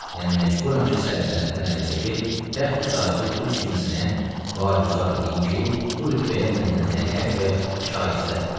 Mən məcburam ki, səltənətdən əl çəkib, təxt-i tacı bir kimsənə vaquzar eləyim ki, bu rütbəyə məndən əlhəq və şayəstədir.